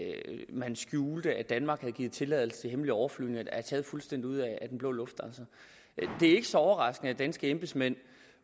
man skjulte at danmark havde givet tilladelse til hemmelige overflyvninger er taget fuldstændig ud af den blå luft det er ikke så overraskende at danske embedsmænd